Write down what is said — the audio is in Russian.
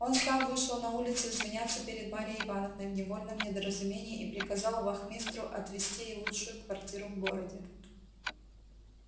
он сам вышел на улицу извиняться перед марьей ивановной в невольном недоразумении и приказал вахмистру отвести ей лучшую квартиру в городе